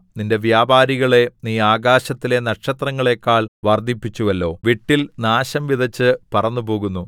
നിന്റെ വ്യാപാരികളെ നീ ആകാശത്തിലെ നക്ഷത്രങ്ങളെക്കാൾ വർദ്ധിപ്പിച്ചുവല്ലോ വിട്ടിൽ നാശം വിതച്ച് പറന്നുപോകുന്നു